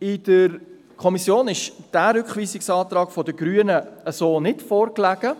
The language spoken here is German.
In der Kommission lag der Rückweisungsantrag der Grünen so nicht vor.